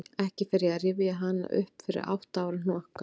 En ekki fer ég að rifja hana upp fyrir átta ára hnokka.